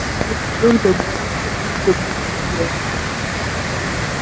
боксёр добрался лишь до буквы г